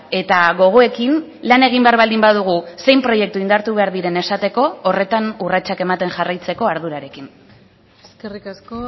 eta gogoekin lan egin behar baldin badugu zein proiektu indartu behar diren esateko horretan urratsak ematen jarraitzeko ardurarekin eskerrik asko